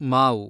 ಮಾವು